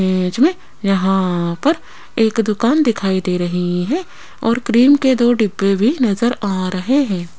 Image में यहां पर एक दुकान दिखाई दे रही हैं और क्रीम के दो डिब्बे भी नजर आ रहें हैं।